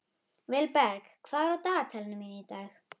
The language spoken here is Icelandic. Vilberg, hvað er á dagatalinu mínu í dag?